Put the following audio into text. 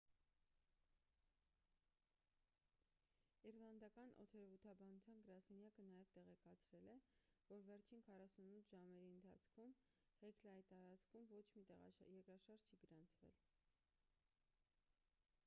իսլանդական օդերևութաբանության գրասենյակը նաև տեղեկացրել է որ վերջին 48 ժամերի ընթացքում հեքլայի տարածքում ոչ մի երկրաշարժ չի գրանցվել